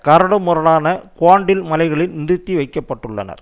கரடுமுரடான குவாண்டில் மலைகளில் நிறுத்தி வைக்க பட்டுள்ளனர்